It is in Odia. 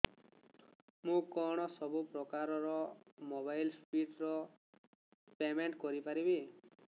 ମୁ କଣ ସବୁ ପ୍ରକାର ର ମୋବାଇଲ୍ ଡିସ୍ ର ପେମେଣ୍ଟ କରି ପାରିବି